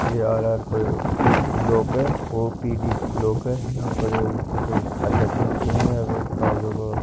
यह कोई ब्लोक है और पी_डी ब्लोक है यहां पर अध्यक्ष आते है। --